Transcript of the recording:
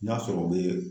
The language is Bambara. N'a sɔrɔ u bɛ